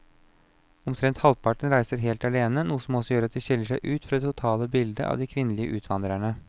Omtrent halvparten reiser helt alene, noe som også gjør at de skiller seg ut fra det totale bildet av de kvinnelige utvandrerne.